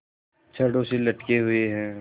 छड़ों से लटके हुए हैं